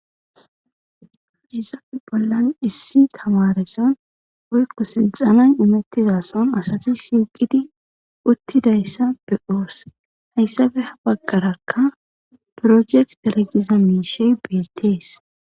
Izaabe bollan issi tawareson oykko silxanay imettizason asati shiqidi uttidayssa be7oos hayssabe habaggarakka projek dergiza miishey beettees